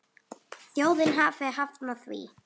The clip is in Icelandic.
Þjóðin hafi hafnað því.